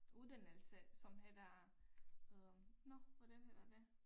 Uddannelse som hedder øh nåh hvordan hedder det